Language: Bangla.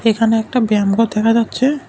এখানে একটা ব্যামঘর দেখা যাচ্ছে।